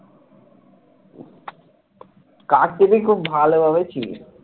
ভালোভাবে চিনিস